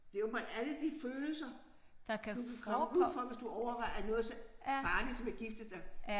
Det åbenbart alle de følelser du kan komme ud for hvis du overvejer noget så farligt som at gifte dig